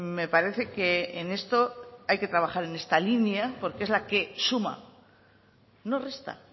me parece que en esto hay que trabajar en esta línea porque es la que suma no resta